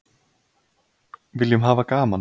Viljum hafa gaman